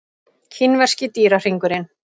Kínverski dýrahringurinn.